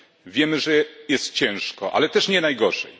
Wiemy, że jest ciężko, ale też nie najgorzej.